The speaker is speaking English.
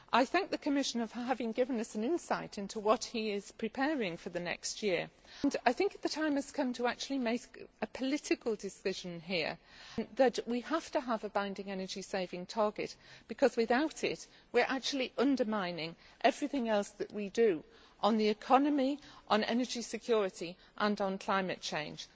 I thank the Commissioner for having given us an insight into what he is preparing for the next year. I think the time has come to make a political decision here that we have to have a binding energy saving target because without it, we are actually undermining everything else that we do on the economy, on energy security and on climate change.